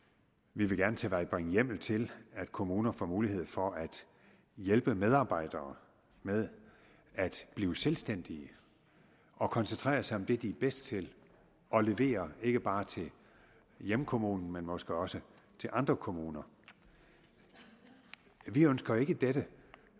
vi vil gerne tilvejebringe hjemmel til at kommuner får mulighed for at hjælpe medarbejdere med at blive selvstændige og koncentrere sig om det de er bedst til og levere ikke bare til hjemkommunen men måske også til andre kommuner vi ønsker ikke at dette